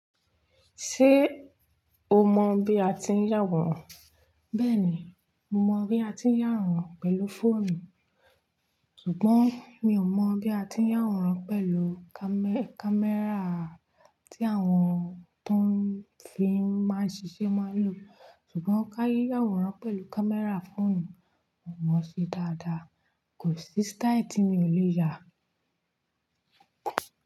Ṣé oo mọ bí a ti ń yàwòrán? Bẹ́ẹ̀ni, mo mọ bí a ti ń yàwòrán pẹ̀lú fóònù, ṣùgbọ́n mi ò mọ bí a ti ń yàwòrán pẹ̀lú kámẹ́rà tí àwọn tó ń fíì n máa ń ṣiṣẹ́ máa ń lò. Ṣùgbọ́n ká yàwòrán pẹ̀lú kámẹ́rà fóònù, mo mọ ọ́ ṣe dáadáa. Kò sí sítáì tí mi ò lè yà.